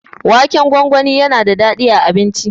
Waken gwangwani yana da daɗi a abinci.